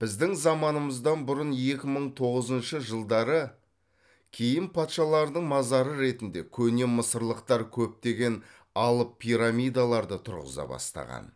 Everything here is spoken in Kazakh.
біздің заманымыздан бұрын екі мың тоғызыншы жылдары кейін патшалардың мазары ретінде көне мысырлықтар көптеген алып пирамидаларды тұрғыза бастаған